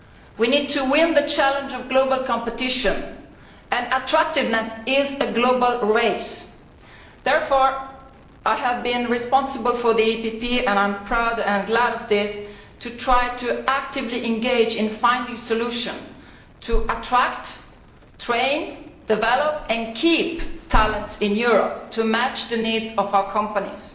We need to win the challenge of global competition and attractiveness is a global race. I have therefore been responsible within the PPE and I am proud and glad of this for trying to actively engage in finding a solution to attract, train, develop and keep talent in Europe to match the needs of our companies.